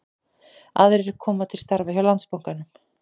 Aðrir koma til starfa hjá Landsbankanum